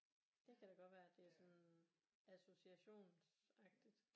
Det kan da godt være at det er sådan associationsagtigt